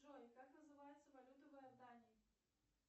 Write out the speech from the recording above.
джой как называется валюта в иордании